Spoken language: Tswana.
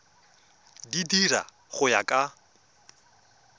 di dira go ya ka